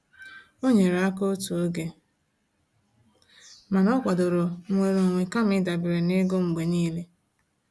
O nyere aka otu oge mana o kwadoro nnwere onwe kama ịdabere na ego mgbe niile.